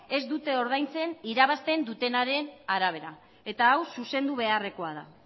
ez dute ordaintzen irabazten dutenaren arabera eta hau zuzendu beharrekoa da